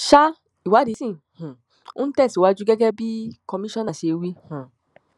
sa ìwádìí sí um ń tẹsíwájú gẹgẹ bí komisanna ṣe wí um